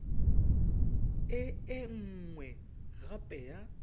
e e nngwe gape ya